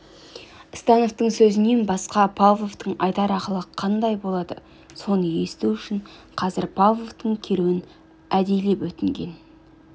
становтың сөзінен басқа павловтың айтар ақылы қандай болады соны есту үшін қазір павловтың келуін әдейілеп өтінген